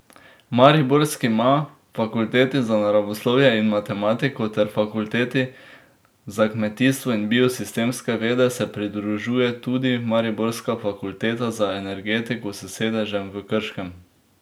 Mariborskima fakulteti za naravoslovje in matematiko ter fakulteti za kmetijstvo in biosistemske vede se pridružuje tudi mariborska fakulteta za energetiko s sedežem v Krškem.